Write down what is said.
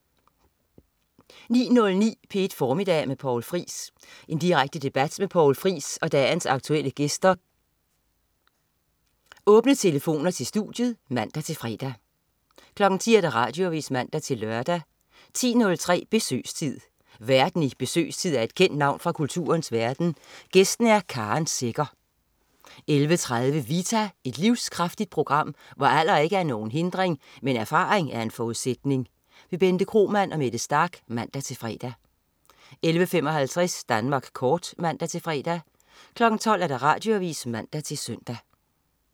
09.09 P1 Formiddag med Poul Friis. Direkte debat med Poul Friis og dagens aktuelle gæster med åbne telefoner til studiet (man-fre) 10.00 Radioavis (man-lør) 10.03 Besøgstid. Værten i "Besøgstid" er et kendt navn fra kulturens verden, gæsten er Karen Secher 11.30 Vita. Et livskraftigt program, hvor alder ikke er nogen hindring, men erfaring en forudsætning. Bente Kromann og Mette Starch (man-fre) 11.55 Danmark Kort (man-fre) 12.00 Radioavis (man-søn)